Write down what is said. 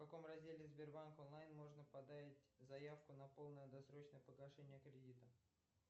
в каком разделе сбербанк онлайн можно подать заявку на полное досрочное погашение кредита